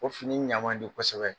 O fini ɲan man di kosɛbɛ.